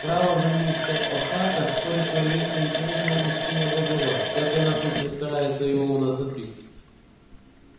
право же мистер охара стоит появиться интересному мужчине вроде вас как она тут же старается его у нас отбить